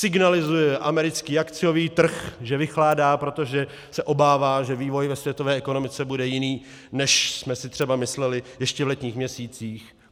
Signalizuje americký akciový trh, že vychládá, protože se obává, že vývoj ve světové ekonomice bude jiný, než jsme si třeba mysleli ještě v letních měsících.